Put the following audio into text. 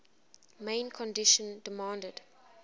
main condition demanded